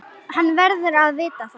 Hann verður að vita það.